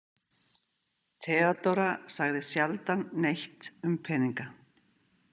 Theodóra sagði sjaldan neitt um peninga.